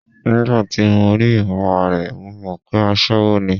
Nígbà tí mo rí ìmúra rẹ̀, mo mọ̀ pé aṣẹwó ni.